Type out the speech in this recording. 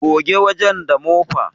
Goge wajen da mofa